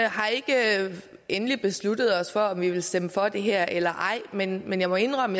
har ikke endeligt besluttet os for om vi vil stemme for det her eller ej men men jeg må indrømme